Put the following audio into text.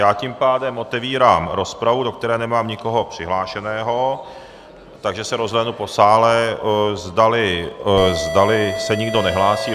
Já tím pádem otevírám rozpravu, do které nemám nikoho přihlášeného, takže se rozhlédnu po sále, zdali se nikdo nehlásí.